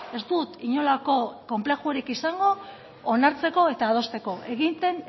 ez dut inolako konplexurik izango onartzeko eta adosteko egiten